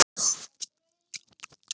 Eiga sjö börn